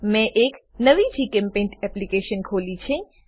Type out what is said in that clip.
મેં એક નવી જીચેમ્પેઇન્ટ એપ્લીકેશન ખોલી છે